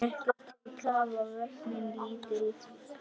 Ekkert til tafa, vötnin lítil.